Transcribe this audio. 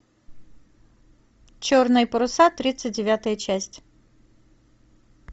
черные паруса тридцать девятая часть